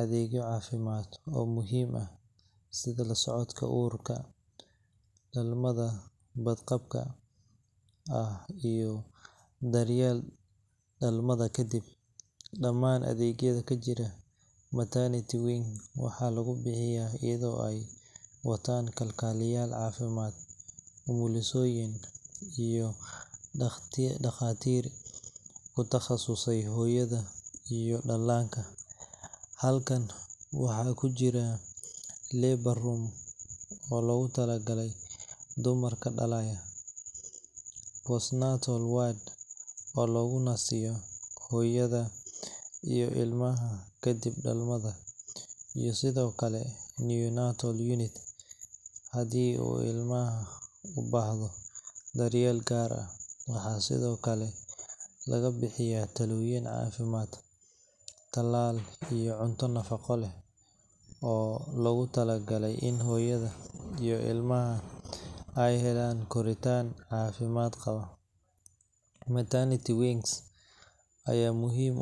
adeegyo caafimaad oo muhiim ah sida la socodka uurka, dhalmada badqabka ah, iyo daryeelka dhalmada kadib. Dhammaan adeegyada ka jira maternity wing waxaa lagu bixiyaa iyadoo ay wataan kalkaaliyeyaal caafimaad, umulisooyin, iyo dhakhaatiir ku takhasusay hooyada iyo dhallaanka. Qolalkan waxaa ku jira labour room oo loogu talagalay dumarka dhalaya, postnatal ward oo loogu nasiyo hooyada iyo ilmaha kadib dhalmada, iyo sidoo kale neonatal unit haddii uu ilmaha u baahdo daryeel gaar ah. Waxaa sidoo kale lagu bixiyaa talooyin caafimaad, talaal, iyo cunto nafaqo leh oo loogu talagalay in hooyada iyo ilmaha ay helaan koritaan caafimaad qaba. Maternity wings ayaa.